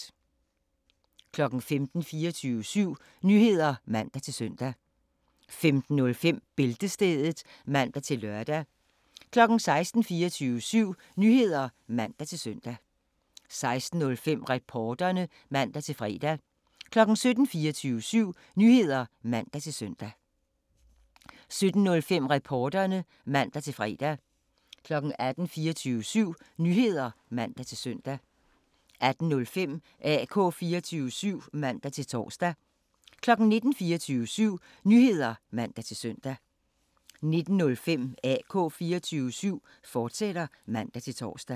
15:00: 24syv Nyheder (man-søn) 15:05: Bæltestedet (man-lør) 16:00: 24syv Nyheder (man-søn) 16:05: Reporterne (man-fre) 17:00: 24syv Nyheder (man-søn) 17:05: Reporterne (man-fre) 18:00: 24syv Nyheder (man-søn) 18:05: AK 24syv (man-tor) 19:00: 24syv Nyheder (man-søn) 19:05: AK 24syv, fortsat (man-tor)